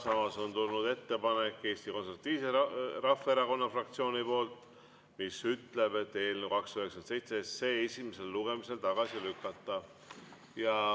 Samas on tulnud ettepanek Eesti Konservatiivse Rahvaerakonna fraktsioonilt, mis paneb ette eelnõu 297 esimesel lugemisel tagasi lükata.